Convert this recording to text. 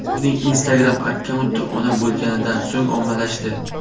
Uning Instagram akkaunti ona bo‘lganidan so‘ng ommalashdi.